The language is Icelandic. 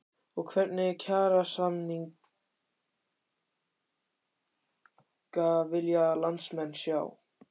Og hvernig kjarasamninga vilja landsmenn sjá?